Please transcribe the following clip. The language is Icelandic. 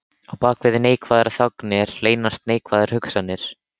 Á bak við neikvæðar þagnir leynast neikvæðar hugsanir.